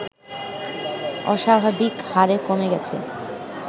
অস্বাভাবিকহারে কমে গেছে